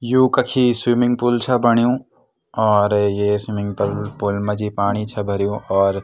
यु कखी swimming pool छा बण्यु और ये स्विमिंग पर पूल मा जी पाणी छा भर्युं और --